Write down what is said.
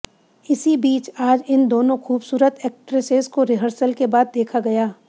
इसी बीच आज इन दोनों खूबसूरत एक्ट्रेसेस को रिहर्सल के बाद देखा गया